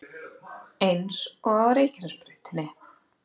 Eins og á Reykjanesbrautinni